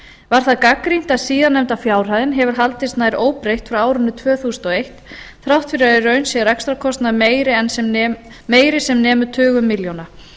var það gagnrýnt að síðar nefnda fjárhæðin hefur haldist nær óbreytt frá árinu tvö þúsund og eitt þrátt fyrir að í raun sé rekstrarkostnaður meiri en sem nemur tugum milljóna